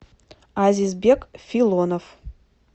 азизбек филонов